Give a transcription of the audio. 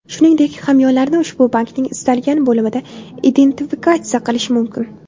Shuningdek, hamyonlarni ushbu bankning istalgan bo‘limida identifikatsiya qilish mumkin.